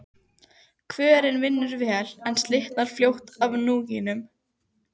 Kvörnin vinnur vel, en slitnar fljótt af núningnum.